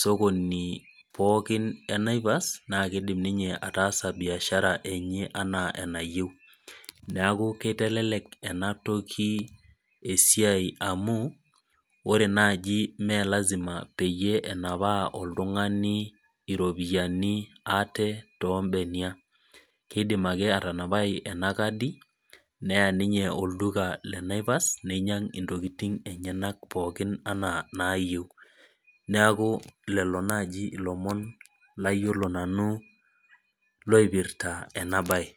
sokoni pookin ee Naivas naa kidim atasa biashara enye enaa enayieu neeku kitelelek ena toki esiai amu ore naaji mmee lasima pee enap oltung'ani iropiani ate too benia kidim ake atanapai ena kadi neyau ninye olduka lee Naivas ninyiag entokitin enyanak pookin ena nayieu neeku lelo naaji elomon layiolo nanu loipirta ena mbae